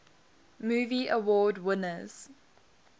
movie award winners